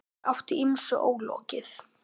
Hann átti ýmsu ólokið.